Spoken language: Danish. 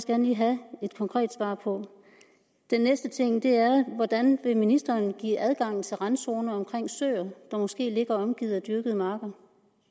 gerne lige have et konkret svar på den næste ting er hvordan vil ministeren give adgang til randzoner omkring søer der måske ligger omgivet af dyrkede marker